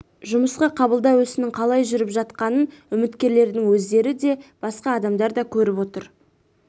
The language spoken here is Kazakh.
жұмысқа қабылдау ісінің қалай жүріп жатқанын үміткерлердің өздері де басқа адамдар да көріп отыр